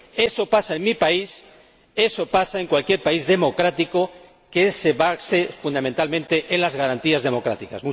Eso pasa en mi país, eso pasa en cualquier país democrático que se base fundamentalmente en las garantías democráticas.